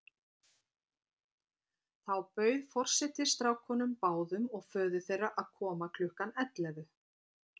Þá bauð forseti strákunum báðum og föður þeirra að koma klukkan ellefu.